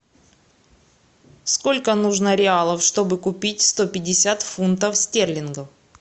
сколько нужно реалов чтобы купить сто пятьдесят фунтов стерлингов